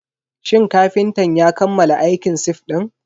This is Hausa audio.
Shin kafintan ya kammala aikin sif din?